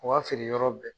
U ka feere yɔrɔ bɛɛ